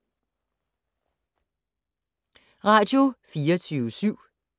Radio24syv